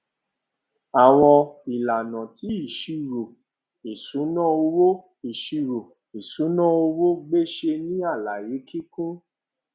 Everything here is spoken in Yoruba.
àwọn ìlànà ti ìṣírò ìṣúná owó ìṣírò ìṣúná owó gbèsè nì àlàyé kíkún